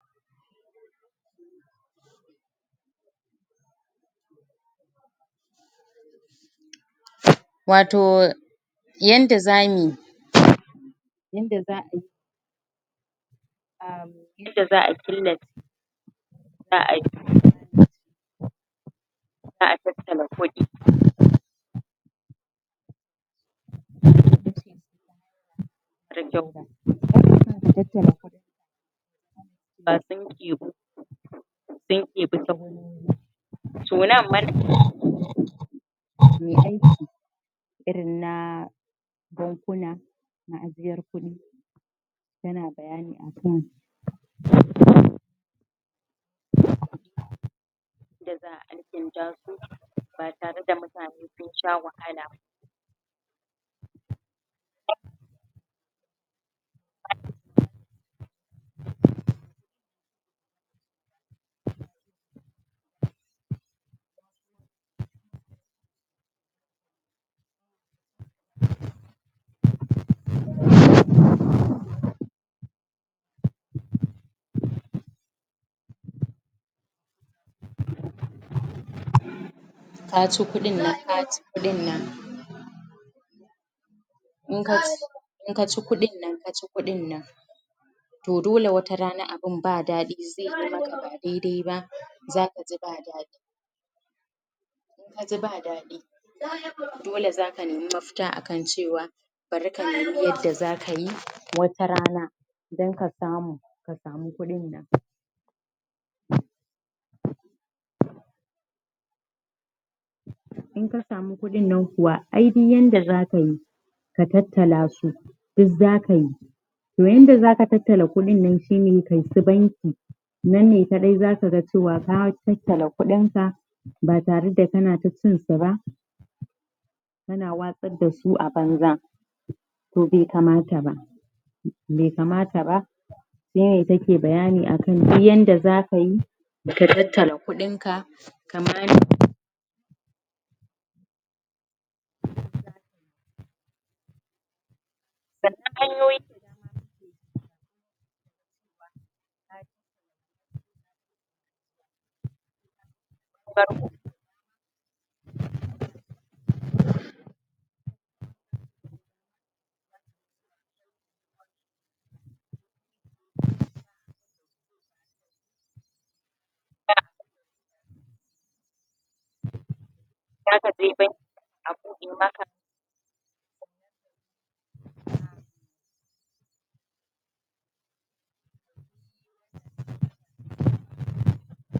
Watau yanda zamu yi? yanda za a yi ta ci kuɗin nan ta ci kuɗin nan in ka ci in ka ci kuɗinnan ka ci kuɗinnan to dole wata rana abun ba daɗi zai yi maka ba daidai ba zaka ji ba daɗi kaji ba daɗi dole zaka nemi mafita a kan cewa bari ka nemi yadda zaka yi wata rana don ka samu ka samu kuɗin nan / in ka samu kuɗin nan kuwa ai duk yanda zaka yi ka tattala su duk zaka yi domin yanda zaka tattala kuɗin nan shine kai su banki nan ne kawai zaka ga cewa ka tattala kuɗin ka ba tare da kana ta cin su ba kana watsar da su a banza to bai kamata ba bai kamata ba shine yake bayani akan duk yadda zaka yi ka tattala kuɗin ka